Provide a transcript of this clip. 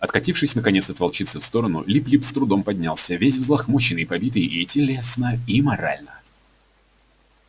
откатившись наконец от волчицы в сторону лип лип с трудом поднялся весь взлохмаченный побитый и телесно и морально